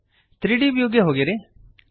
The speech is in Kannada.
3ದ್ ವ್ಯೂಗೆ ಹೋಗಿರಿ